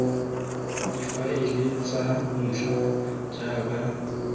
difaele tsa ntlha jaaka ditlhogo